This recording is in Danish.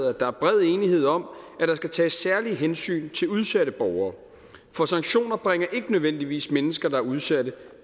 at der er bred enighed om at der skal tages særlige hensyn til udsatte borgere for sanktioner bringer ikke nødvendigvis mennesker der er udsatte